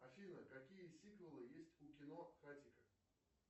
афина какие сиквелы есть у кино хатико